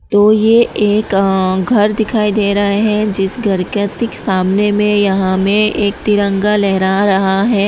तो ये एक घर दिखाई दे रहा है जिस घर के ठीक सामने में यहां में एक तिरंगा लहरा रहा है।